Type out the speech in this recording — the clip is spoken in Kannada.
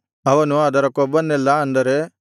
ಅವನು ಅದರ ಕೊಬ್ಬನ್ನೆಲ್ಲಾ ಅಂದರೆ